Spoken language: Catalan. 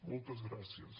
moltes gràcies